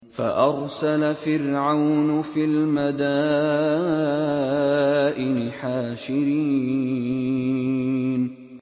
فَأَرْسَلَ فِرْعَوْنُ فِي الْمَدَائِنِ حَاشِرِينَ